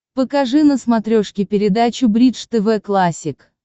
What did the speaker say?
покажи на смотрешке передачу бридж тв классик